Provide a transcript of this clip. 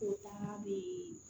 O taa